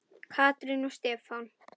Katrín og Stefán.